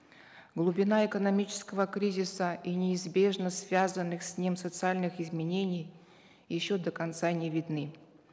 глубина экономического кризиса и неизбежно связанных с ним социальных изменений еще до конца не видны